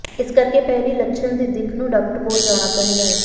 ਇਸ ਕਰਕੇ ਪਹਿਲੀ ਲੱਛਣ ਦੀ ਦਿੱਖ ਨੂੰ ਡਾਕਟਰ ਕੋਲ ਜਾਣਾ ਚਾਹੀਦਾ ਹੈ